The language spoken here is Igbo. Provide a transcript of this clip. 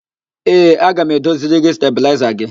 Ee, aga m edoziri gị stabịlaịza gị.